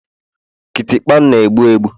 Kịtịkpa na-egbu egbu